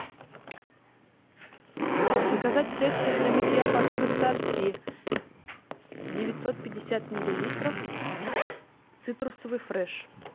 заказать средство для мытья посуды сорти девятьсот пятьдесят миллилитров цитрусовый фреш